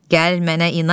Gəl mənə inan.